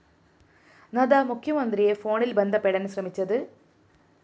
നദ്ദ മുഖ്യമന്ത്രിയെ ഫോണില്‍ ബന്ധപ്പെടാന്‍ ശ്രമിച്ചത്